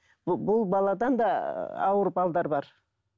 бұл баладан да ыыы ауыр бар